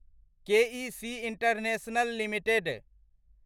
के E C International limited